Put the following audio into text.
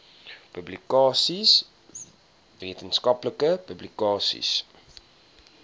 publikasies wetenskaplike publikasies